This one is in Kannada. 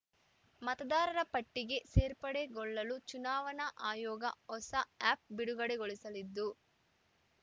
ಮತದಾರರ ಪಟ್ಟಿಗೆ ಸೇರ್ಪಡೆಗೊಳ್ಳಲು ಚುನಾವಣಾ ಆಯೋಗ ಹೊಸ ಆ್ಯಪ್‌ ಬಿಡುಗಡೆಗೊಳಿಸಿದ್ದು